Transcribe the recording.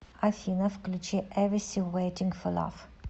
афина включи эвиси вэйтинг фо лав